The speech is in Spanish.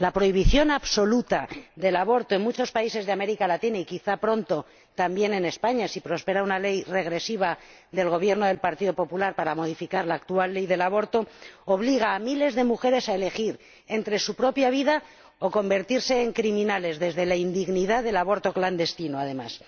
La prohibición absoluta del aborto en muchos países de América Latina y quizás pronto también en España, si prospera una ley regresiva del Gobierno del Partido Popular para modificar la actual Ley del aborto obliga a miles de mujeres a elegir entre su propia vida o convertirse en criminales desde la indignidad del aborto clandestino, además,